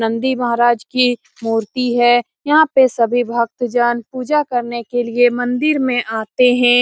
नंदी महाराज की मूर्ति है। यहाँ पे सभी भक्तजन पूजा करने के लिए मंदिर में आते हैं।